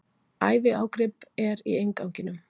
Æviágrip er í innganginum.